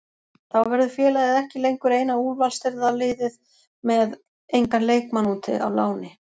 Þá verður félagið ekki lengur eina úrvalsdeildarliðið með engan leikmann úti á láni.